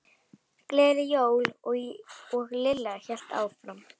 Gleðileg jól. og Lilla hélt áfram.